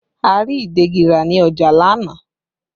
A rí ìdegi ra ní ọjà lánàá